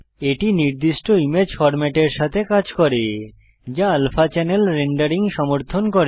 এটি নির্দিষ্ট ইমেজ ফরমেটের সাথে কাজ করে যা আলফা চ্যানেল রেন্ডারিং সমর্থন করে